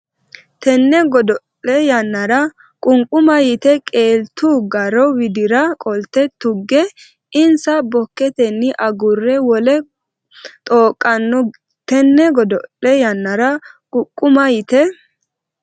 Tenne godo le yannara qunquma yite qeeltu garo widira qolte tugge insa bokkotenni agurre wole xooqqanno Tenne godo le yannara qunquma yite.